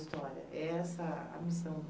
história. Essa a missão